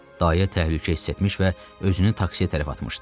Dayə təhlükə hiss etmiş və özünü taksiyə tərəf atmışdı.